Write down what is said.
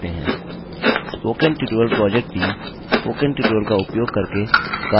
spoken tutorial project team spoken tutorial का उपयोग करके कार्यशालाएँ भी चलाते हैं